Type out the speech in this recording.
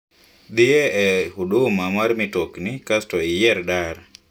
Dhiye e huduma mar mitokni kas to iyier dar